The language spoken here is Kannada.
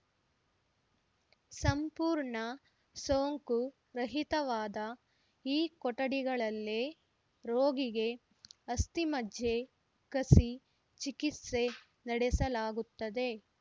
ಸಂಪೂರ್ಣ ಸೋಂಕು ರಹಿತವಾದ ಈ ಕೊಠಡಿಗಳಲ್ಲೇ ರೋಗಿಗೆ ಅಸ್ಥಿಮಜ್ಜೆ ಕಸಿ ಚಿಕಿತ್ಸೆ ನಡೆಸಲಾಗುತ್ತದೆ